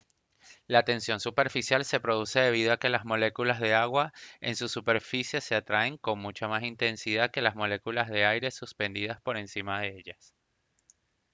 la tensión superficial se produce debido a que las moléculas de agua en su superficie se atraen con mucha más intensidad que las moléculas de aire suspendidas por encima de ellas